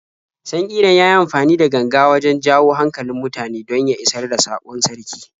Sankiran ya yi amfani da ganga wajen jawo hankalin mutane don ya isar da saƙon sarki.